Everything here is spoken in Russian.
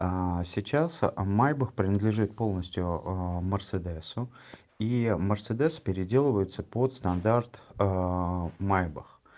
сейчас майбах принадлежит полностью мерседесу и мерседес переделывается под стандарт майбах